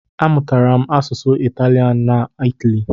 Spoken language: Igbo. A mụtara m asụsụ Italian n'Itali.